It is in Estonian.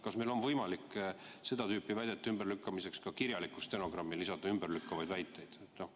Kas meil on võimalik seda tüüpi väidete ümberlükkamiseks lisada kirjalikku stenogrammi ümberlükkavaid väiteid?